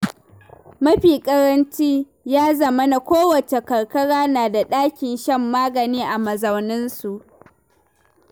Mafi ƙaranci, ya zamana kowace karkara na da ɗakin shan magani a mazauninsu.